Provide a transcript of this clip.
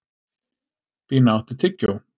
Bína, áttu tyggjó?